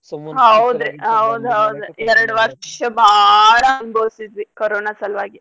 ಎರ್ಡ್ ವರ್ಷ ಬಾಳ ಅನ್ಬೋಸಿದ್ವಿ ಕೊರೋನಾ ಸಲ್ವಾಗಿ.